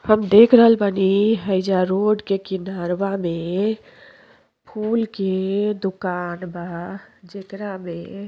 हम देख रहल बानी हैजा रोड के किनराव में फूल के दुकान बा। जेकरा मे --